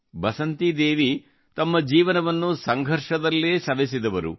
ಬಸಂತಿದೇವಿ ತಮ್ಮ ಜೀವನವನ್ನು ಸಂಘರ್ಷದಲ್ಲೇ ಸವೆಸಿದವರು